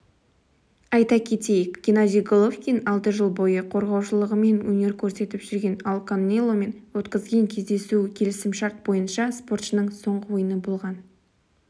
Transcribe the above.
айта кетейік геннадий головкин алты жыл бойы қорғаушылығымен өнер көрсетіп жүрген ал канеломен өткізген кездесуі келісімшарт бойынша спортшының соңғы ойыны болған